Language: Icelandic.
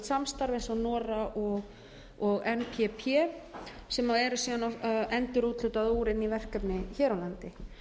samstarf eins og nora og npp sem eru síðan endurúthlutað úr inn í verkefni hér á landi